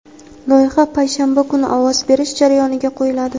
loyiha payshanba kuni ovoz berish jarayoniga qo‘yiladi.